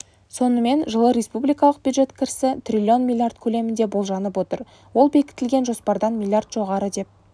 сонымен жылы республкиалық бюджет кірісі трлн млрд көлемінде болжанып отыр ол бекітілген жоспардан млрд жоғары деп